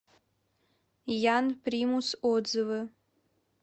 ян примус отзывы